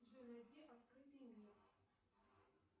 джой найди открытый мир